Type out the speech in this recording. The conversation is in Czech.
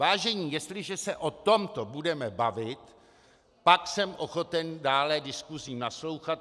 Vážení, jestliže se o tomto budeme bavit, pak jsem ochoten dále diskusím naslouchat.